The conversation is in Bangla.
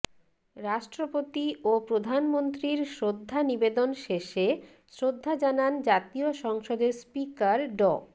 রাষ্ট্রপতি ও প্রধানমন্ত্রীর শ্রদ্ধা নিবেদন শেষে শ্রদ্ধা জানান জাতীয় সংসদের স্পিকার ড